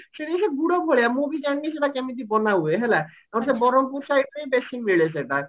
ସିଏ ବି ଗୁଡ ଭଳିଆ ମୁଁ ବି ଜାଣିନି ସେଟା କେମିତି ବନା ହୁଏ ହେଲା ଆଉ ସେ ବରହମପୁର siteରେ ବେଶି ମିଳେ ସେଇଟା